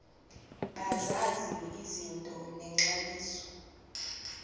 bazazi izinto nexabiso